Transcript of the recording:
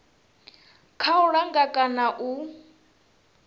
kha u langa kana u